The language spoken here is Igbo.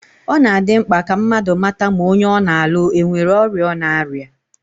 Ọ na-adị mkpa ka mmadụ mata ma onye ọ na-alụ enwere ọrịa ọ na-arịa